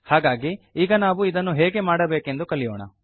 ಹಾಗಾಗಿ ಈಗ ನಾವು ಇದನ್ನು ಹೇಗೆ ಮಾಡಬೇಕೆಂದು ಕಲಿಯೋಣ